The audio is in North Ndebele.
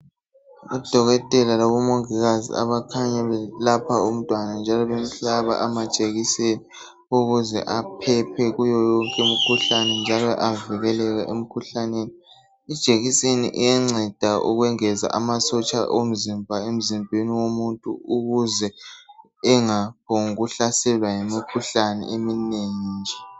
Odokotela labo Mongikazi abakhanya belapha umntwana njalo bemhlaba amajekiseni ukuze aphephe kuyo yonke imikhuhlane njalo avikeleke emikhuhlaneni . Ijekiseni iyanceda ukwengeza amasotsha omzimba emzimbeni womuntu ukuze engaphongu hlaselwa yimikhuhlane eminengi nje .